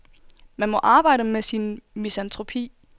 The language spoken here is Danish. Man må arbejde med sin misantropi.